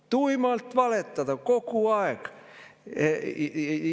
Tuimalt valetada kogu aeg!